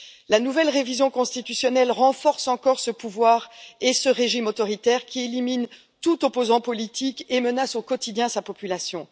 La nouvelle révision constitutionnelle renforce encore ce pouvoir et ce régime autoritaire, qui élimine tout opposant politique et menace au quotidien sa population.